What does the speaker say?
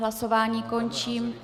Hlasování končím.